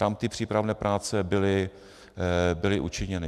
Tam ty přípravné práce byly učiněny.